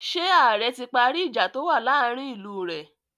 Ṣé ààrẹ ti parí ìjà tó wà láàárin ìlú rẹ̀?